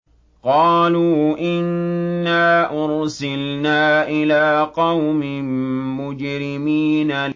قَالُوا إِنَّا أُرْسِلْنَا إِلَىٰ قَوْمٍ مُّجْرِمِينَ